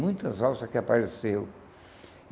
Muitas valsas que apareceu.